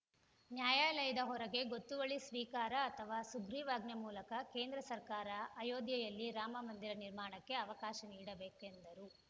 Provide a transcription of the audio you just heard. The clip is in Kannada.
ನ್ಯಾಯಾಲಯದ ಹೊರಗೆ ಗೊತ್ತುವಳಿ ಸ್ವೀಕಾರ ಅಥವಾ ಸುಗ್ರೀವಾಜ್ಞೆ ಮೂಲಕ ಕೇಂದ್ರ ಸರಕಾರ ಅಯೋಧ್ಯೆಯಲ್ಲಿ ರಾಮ ಮಂದಿರ ನಿರ್ಮಾಣಕ್ಕೆ ಅವಕಾಶ ನೀಡಬೇಕು ಎಂದರು